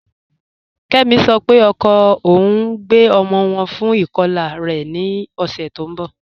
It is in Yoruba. Kẹmi sọ́ pé ọkọ ọun ń gbẹ ọmọ wọn fún ikọla rẹ̀ ní ọ̀ṣẹ́ tì n bọ́.